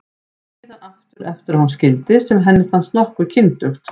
Og síðan aftur eftir að hún skildi, sem henni fannst nokkuð kyndugt.